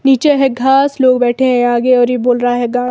नीचे है घास लोग बैठे हैं आगे और ये बोल रहा है गां--